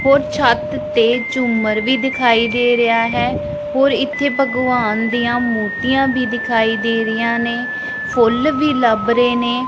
ਹੋਰ ਛੱਤ ਤੇ ਝੂਮਰ ਵੀ ਦਿਖਾਈ ਦੇ ਰਿਹਾ ਹੈ ਹੋਰ ਇੱਥੇ ਭਗਵਾਨ ਦੀਆਂ ਮੂਰਤੀਆਂ ਵੀ ਦਿਖਾਈ ਦੇ ਰਹੀਆਂ ਨੇ ਫੁੱਲ ਵੀ ਲੱਭ ਰਹੇ ਨੇ।